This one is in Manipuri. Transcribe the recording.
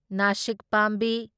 ꯅꯥꯁꯤꯛ ꯄꯥꯝꯕꯤ